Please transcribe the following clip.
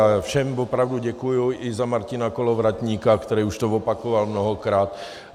A všem opravdu děkuji i za Martina Kolovratníka, který už to opakoval mnohokrát.